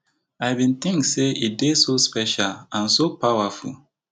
i bin think say e dey so special and so powerful